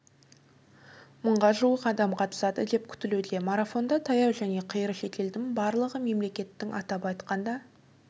мыңға жуық адам қатысады деп күтілуде марафонда таяу және қиыр шетелдің барлығы мемлекеттің атап айтқанда